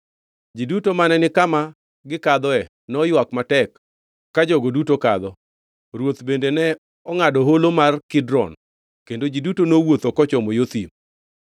Ji duto mane ni kama gikadhoe noywak matek ka jogo duto kadho. Ruoth bende ne ongʼado Holo mar Kidron kendo ji duto nowuotho kochomo yo thim.